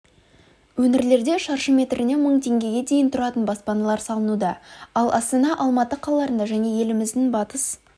өңірлерде шаршы метріне мың теңгеге дейін тұратын баспаналар салынуда ал астана алматы қалаларында және еліміздің батыс